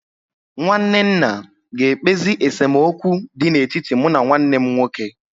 Nwanne nna ga-ekpezi esemokwu dị n'etiti mụ na nwanne m nwoke.